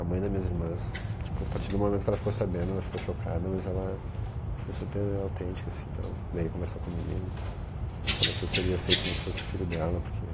A mãe das minhas irmãs, tipo, a partir do momento que ela ficou sabendo, ela ficou chocada, mas ela foi super autêntica, assim, ela veio conversar comigo, falou que eu seria aceito como se fosse filho dela, porque,